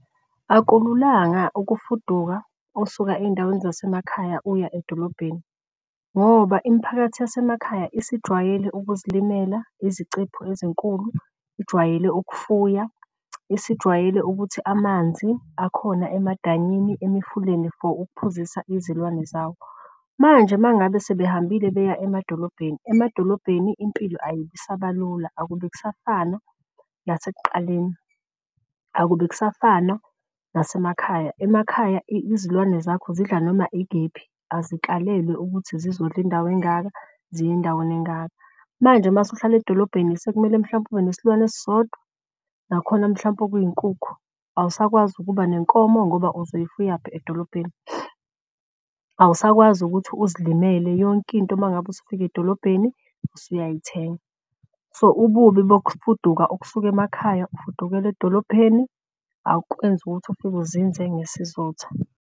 Akululanga ukufuduka usuka ey'ndaweni zasemakhaya uya edolobheni ngoba imiphakathi yasemakhaya isijwayele ukuzimela. Izicephu ezinkulu, ijwayele okufuya, isijwayele ukuthi amanzi akhona emadanyini, emfuleni for ukuphuzisa izilwane zawo. Manje mangabe sebehambile beya emadolobheni emadolobheni impilo ayibi isaba lula, akube kusafana lasekuqaleni, akube kusafana nasemakhaya. Emakhaya izilwane zakho zidla noma ikephi azikalelwe ukuthi zizodla indawo engaka ziye endaweni engaka. Manje uma usuhlala edolobheni, sekumele mhlawumpe ube nesilwane esisodwa nakhona mhlawumpe okuyinkukhu. Awusakwazi ukuba nenkomo ngoba uzoyifuyaphi edolobheni . Awusakwazi ukuthi uzimele yonke into uma ngabe usufika edolobheni usuyayithenga so ububi kokufuduka ukusuke emakhaya ufudukele edolopheni. Awukwenzi ukuthi ufike uzinze ngesizotha.